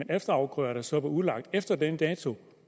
er efterafgrøder som er udlagt efter den dato